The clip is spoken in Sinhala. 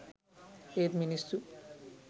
ඒත් මිනිස්සු